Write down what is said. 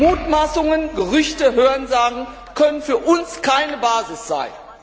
Mutmaßungen, Gerüchte, Hörensagen können für uns keine Basis sein.